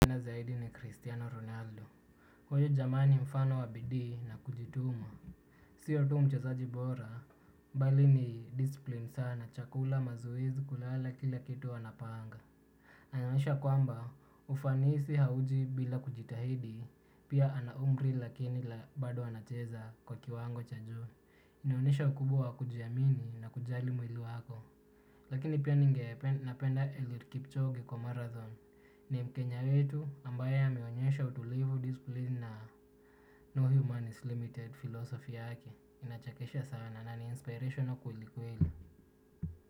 Na zaidi ni Cristiano Ronaldo. Huyo jamaa ni mfano wabidii na kujituma. Siyo tu mchezaji bora. Bali ni disipline sana. Chakula mazoezi kulala kila kitu huwa anapanga. Inaonyesha kwamba ufanisi hauji bila kujitahidi. Pia ana umri lakini la bado anacheza kwa kiwango cha juuu. Inaonyesha ukubwa wa kujiamini na kujali mwili wako. Lakini pia ningependa napenda eliud kipchoge kwa marathon. Ni mkenya wetu ambae ameonyesha utulivu discipline na no human is limited philosophy yake inachakesha sana na ni inspirational kweli keli.